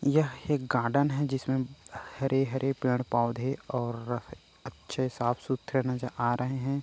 यह एक गार्डन हैं जिसमे हरे-हरे पेड़-पौधे और अच्छे साफ-सुथरे नज़र आ रहे हैं।